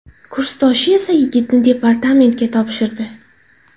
Kursdoshi esa yigitni departamentga topshirdi .